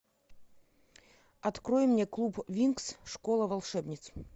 открой мне клуб винкс школа волшебниц